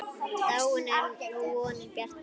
Dáin er nú vonin bjarta.